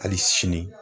Hali sini